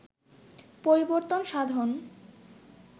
পরিবর্তন সাধন